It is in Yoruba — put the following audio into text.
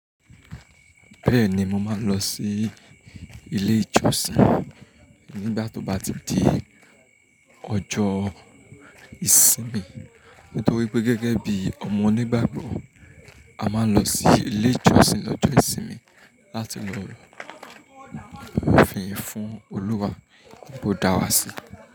Bẹ́ẹ̀ni mo máa lọ sí ilé ìjọsìn nígbà tó bá ti di a ojọ́ Ìsinmi nítorí pé gẹ́gẹ́ bí ọmọ Onígbàgbọ́, a máa ń lọ sí ilé ìjọsìn lọ́jọ́ ìsinmi láti lọ fìyì fún Olúwa bó dá wa sí.